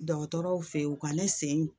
Dɔgɔtɔrɔw fe yen u ka ne sen